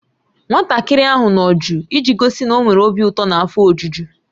Nwatakịrị ahụ nọ jụụ iji gosi na ọ nwere obi ụtọ na afọ ojuju